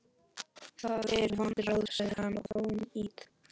Það eru vond ráð, sagði hann,-og fánýt.